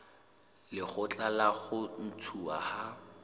lekgotla la ho ntshuwa ha